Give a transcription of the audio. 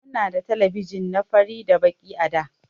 Muna da telebijin na fari da Baki a da.